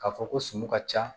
K'a fɔ ko sun ka ca